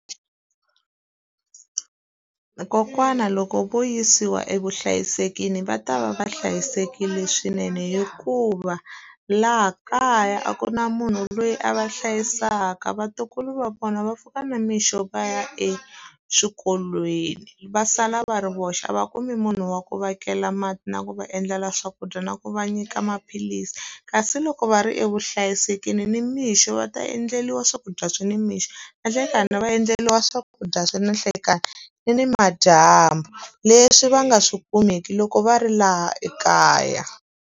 Kokwana loko vo yisiwa evuhlayiselweni va ta va va hlayisekile swinene hikuva, laha kaya a ku na munhu loyi a va hlayisaka. Vatukulu va vona va pfuka na mixo va ya eswikolweni, va sala va ri voxe. A va kumi munhu wa ku va kela mati, na ku va endlela swakudya, na ku va nyika maphilisi. Kasi loko va ri evuhlayiselweni nimixo va ta endleriwa swakudya swi nimixo, na nhlekani va endleriwa swakudya swa ni nhlekani, ni ni madyambu. Leswi va nga swi kumeki loko va ri laha ekaya.